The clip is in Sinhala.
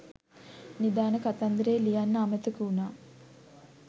නිධාන කතන්දරය ලියන්න අමතක වුනා